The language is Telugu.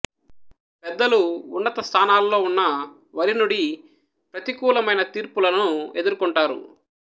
పెద్దలు ఉన్నత స్థానాలలో ఉన్న వరి నుడీ ప్రతికూలమైన తీర్పులను ఎదుర్కుంటారు